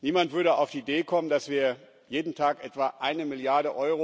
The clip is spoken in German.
Niemand würde auf die Idee kommen, dass wir jeden Tag etwa 1 Mrd.